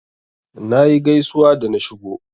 Nayi gaisuwa da na shigo.